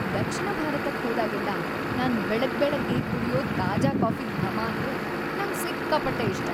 ದಕ್ಷಿಣ ಭಾರತಕ್ ಹೋದಾಗೆಲ್ಲ ನಾನ್‌ ಬೆಳಗ್ಬೆಳಗ್ಗೆ ಕುಡ್ಯೋ ತಾಜಾ ಕಾಫಿದ್ ಘಮ ಅಂದ್ರೆ ನಂಗ್‌ ಸಿಕ್ಕಾಪಟ್ಟೆ ಇಷ್ಟ.